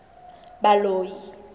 baloi